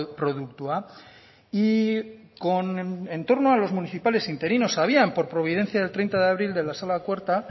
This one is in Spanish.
produktua y con entorno a los municipales interinos sabían por providencia del treinta de abril de la sala cuarta